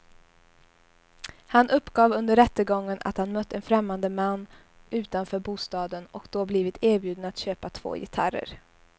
Han uppgav under rättegången att han mött en främmande man utanför bostaden och då blivit erbjuden att köpa två gitarrer.